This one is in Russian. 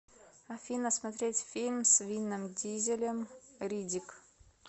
афина смотреть фильм с винном дизелем риддик